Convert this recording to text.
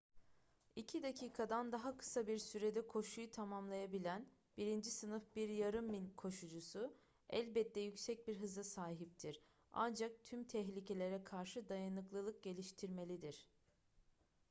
i̇ki dakikadan daha kısa bir sürede koşuyu tamamlayabilen birinci sınıf bir yarım mil koşucusu elbette yüksek bir hıza sahiptir ancak tüm tehlikelere karşı dayanıklılık geliştirmelidir